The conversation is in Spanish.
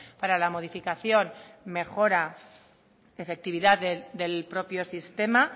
para la modificación mejora efectividad del propio sistema